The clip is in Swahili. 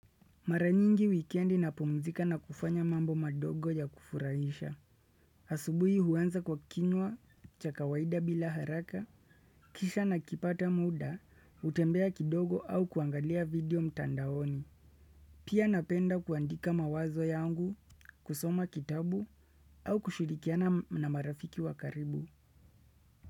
Mara nyingi weekendi na pumzika na kufanya mambo madogo ya kufurahisha. Asubuhi huanza kwa kinywa cha kawaida bila haraka, kisha na kipata muda, utembea kidogo au kuangalia video mtandaoni. Pia napenda kuandika mawazo yangu, kusoma kitabu au kushulikiana na marafiki wakaribu.